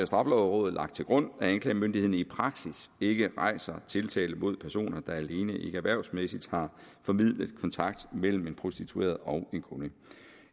straffelovrådet lagt til grund at anklagemyndigheden i praksis ikke rejser tiltale mod personer der alene ikkeerhvervsmæssigt har formidlet kontakt mellem en prostitueret og en kunde